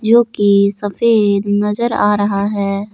जो की सफेद नजर आ रहा है।